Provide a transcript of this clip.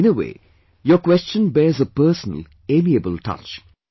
In a way your question were the a personal, amiable touch